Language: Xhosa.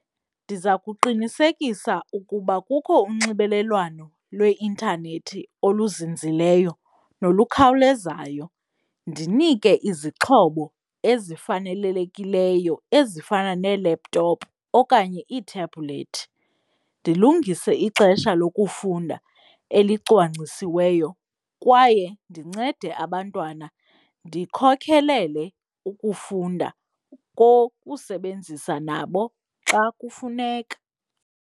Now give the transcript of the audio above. Ndiza kuqinisekisa ukuba kukho unxibelelwano lweintanethi oluzinzileyo nolukhawulezayo. Ndinike izixhobo ezifanelelekileyo ezifana neelaptop okanye ithebulethi, ndilungise ixesha lokufunda elicwangcisiweyo kwaye ndincede abantwana ndikhokhelele ukufunda kokusebenzisa nabo xa kufuneka.